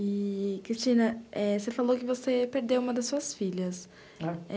E, Cristina, eh, você falou que você perdeu uma das suas filhas.